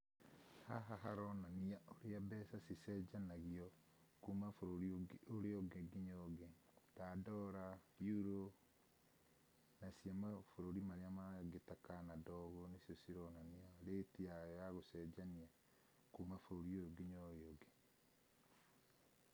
Haha haronania ũrĩa mbeca cĩcenjanagĩo kuma bũrũri ũrĩa ũngĩ nginya ũrĩa ũngĩ ta dollar , euro na cia mabũrũri marĩa mangĩ ta Canada ũgũo, nĩcio cĩronania rĩti yayo ya gũcenjanĩa kuma bũrũri ũyũ nginya ũrĩa ũngĩ.